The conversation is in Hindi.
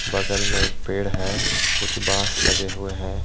बगल में एक पेड़ है कुछ बांस लगे हुए हैं।